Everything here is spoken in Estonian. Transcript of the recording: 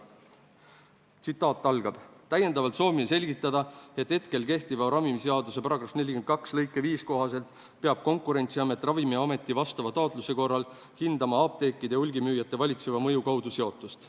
Tsitaat algab: "Täiendavalt soovime selgitada, et hetkel kehtiva ravimiseaduse § 42 lõike 5 kohaselt peab Konkurentsiamet Ravimiameti vastava taotluse korral hindama apteekide ja hulgimüüjate valitseva mõju kaudu seotust.